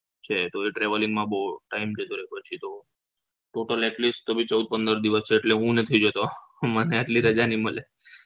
છે તો એ traveling માં બવ time જતો રે પછી તો total atleast ચૌદ પંદર દિવસ એટલે હું નથી જતો મને આટલી રજા નહી મળે